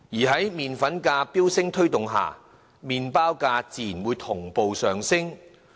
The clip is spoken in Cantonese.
在麪粉價飆升推動之下，麪包價自然會同步上升。